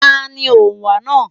Ta ni òǹwà náà.